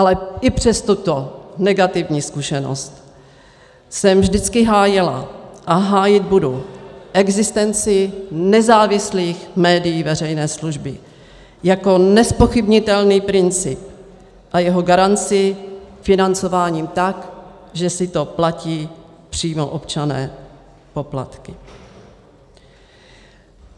Ale i přes tuto negativní zkušenost jsem vždycky hájila a hájit budu existenci nezávislých médií veřejné služby jako nezpochybnitelný princip a jeho garanci financováním tak, že si to platí přímo občané poplatky.